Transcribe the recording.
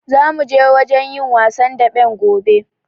Zamu je wajen yin wasan daɓen gobe.